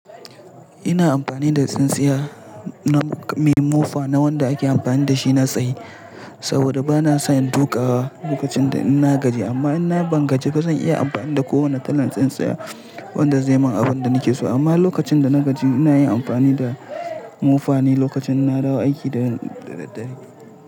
Ina amfani da tsintsiya na, me mufa na wanda ake amfani da shi na tsaye saboda bana so in tuƙa lokacin da ina gaji. Amma in na bangajiba, zan iya amfani da kowane kalan tsintsiya wanda zai min abin da nake so. Amma lokacin da na gaji, ina yin amfani da mofane lokacin in nadawo aiki da daddare.